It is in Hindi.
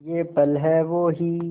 ये पल हैं वो ही